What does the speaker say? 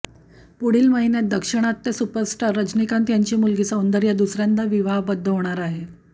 पुढील महिन्यात दाक्षिणात्य सुपरस्टार रजनीकांत यांची मुलगी सौंदर्या दुसऱ्यांदा विवाहबद्ध होणार आहे